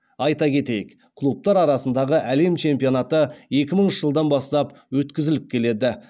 айта кетейік клубтар арасындағы әлем чемпионаты екі мыңыншы жылдан бастап өткізіліп келеді